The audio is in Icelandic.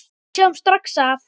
Við sjáum strax að